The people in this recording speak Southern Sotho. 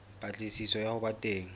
patlisiso ya ho ba teng